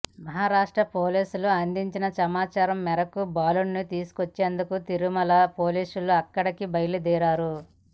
మహారాష్ట్ర పోలీసులు అందించిన సమాచారం మేరకు బాలుడిని తీసుకొచ్చేందుకు తిరుమల పోలీసులు అక్కడికి బయల్దేరారు